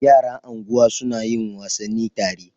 Yara anguwa suna yin wasanni tare.